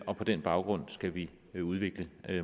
og på den baggrund skal vi vi udvikle